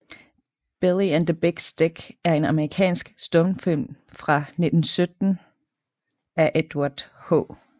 Billy and the Big Stick er en amerikansk stumfilm fra 1917 af Edward H